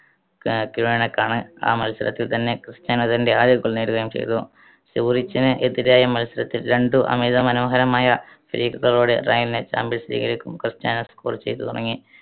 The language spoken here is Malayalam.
. ആ മത്സരത്തിൽ തന്നെ ക്രിസ്റ്റ്യാനോ തന്റെ ആദ്യ goal നേടുകയും ചെയ്തു. സൂറിച്ചിന് എതിരായ മത്സരത്തിൽ രണ്ടു അമിതമനോഹരമായ free kick കളോടെ റയലിനായി ക്രിസ്റ്റ്യാനോ score ചെയ്തു തുടങ്ങി.